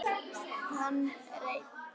Hann reit